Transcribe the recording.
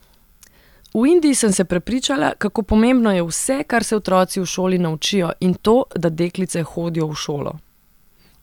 V Indiji sem se prepričala, kako pomembno je vse, kar se otroci v šoli naučijo, in to, da deklice hodijo v šolo.